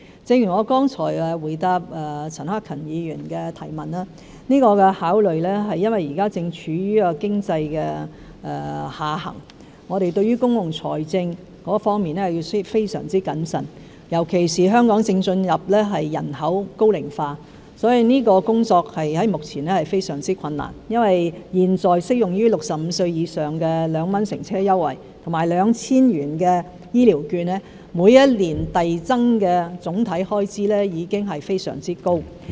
正如我剛才回答陳克勤議員的提問時已指出，這個考慮是因為香港現在正處於經濟下行，我們對於公共財政的處理需要非常謹慎，尤其是香港正進入人口高齡化，所以這工作在目前是非常困難的，因為現在適用於65歲以上人士的2元乘車優惠和 2,000 元的醫療券，每一年遞增的總體開支已經非常高。